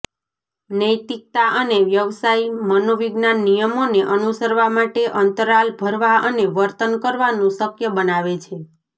નૈતિકતા અને વ્યવસાય મનોવિજ્ઞાન નિયમોને અનુસરવા માટે અંતરાલ ભરવા અને વર્તન કરવાનું શક્ય બનાવે છે